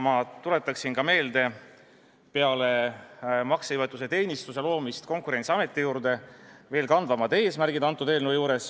Ma tuletan ka meelde, mis on peale maksejõuetuse teenistuse loomise Konkurentsiameti juurde veel eelnõu kandvamad eesmärgid.